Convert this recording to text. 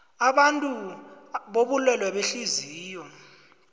abantu bobulwele behliziyo